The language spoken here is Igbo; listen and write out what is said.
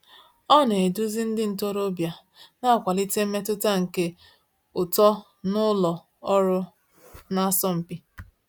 Ọ na-eduzi ndị ntorobịa, na-akwalite mmetụta nke uto n’ụlọ ọrụ na-asọ mpi.